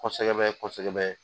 Kɔsɛbɛ kɔsɛbɛ